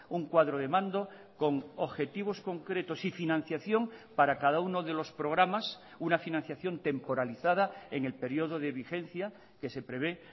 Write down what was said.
un cuadro de mando con objetivos concretos y financiación para cada uno de los programas una financiación temporalizada en el periodo de vigencia que se prevé